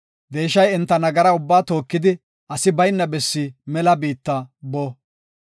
Deeshay enta nagara ubbaa tookidi, asi bayna bessi mela biitta bo.